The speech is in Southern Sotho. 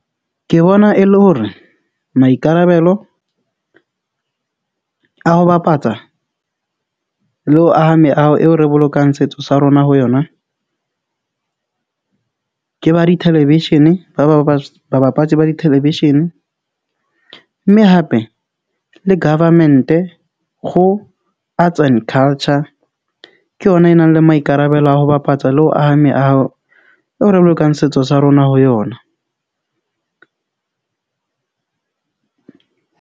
Ke bona e le hore maikarabelo a ho bapatsa le ho aha meaho eo re bolokang setso sa rona ho yona. Ke ba di-television-e. Ba babatse ba di-television-e, mme hape le government-e go, arts and culture. Ke yona e nang le maikarabelo a ho bapatsa le ho aha meaho eo re bolokang setso sa rona ho yona.